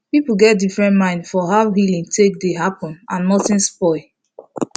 people get different mind for how healing dey take happen and nothing spoil